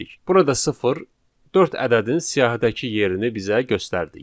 Burada sıfır dörd ədədin siyahıdakı yerini bizə göstərdi.